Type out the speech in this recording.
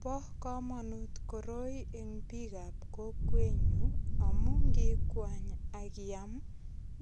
Bo kamanut koroi eng biikab kokwenyu amu ngikwany ak iam